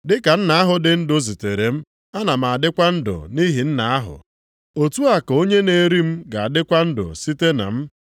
Dị ka Nna ahụ dị ndụ zitere m, ana m adịkwa ndụ nʼihi Nna ahụ, otu a ka onye na-eri m ga-adịkwa ndụ site na m.